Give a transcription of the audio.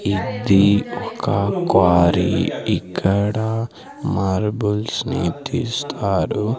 ఇది ఒక క్వారీ ఇక్కడా మార్బుల్స్ని తీస్తారు.